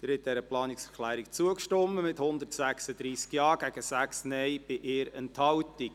Sie haben dieser Planungserklärung zugestimmt, mit 136 Ja- gegen 6 Nein-Stimmen bei 1 Enthaltung.